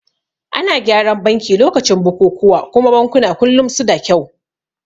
Ana gyaran banki lokacin bukukuwa kuma bankuna kullum suda kyau